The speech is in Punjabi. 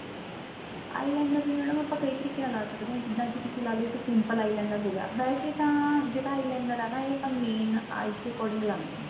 eyeliner ਵੀ madam ਆਪਾਂ ਕਈ ਤਰੀਕੇ ਨਾਲ ਲਾ ਸਕਦੇ ਆ ਜਿੱਦਾਂ ਕੀ ਤੁਸੀਂ ਲਾਲੋ ਇੱਕ simple eyeliner ਹੋ ਗਿਆ ਵੈਸੇ ਤਾਂ ਜਿਹੜਾ eyeliner ਏ ਨਾ ਇਹ ਆਪਾਂ main eyes ਦੇ according ਲਗਾਂਦੇ ਆ